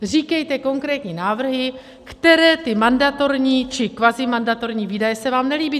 Říkejte konkrétní návrhy, které ty mandatorní či kvazimandatorní výdaje se vám nelíbí.